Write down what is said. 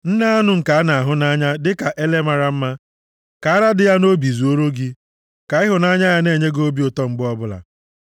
Nne anụ nke na-ahụ nʼanya, dịka ele mara mma, ka ara dị ya nʼobi zuore gị, ka ịhụnanya ya na-enye gị obi ụtọ mgbe ọbụla.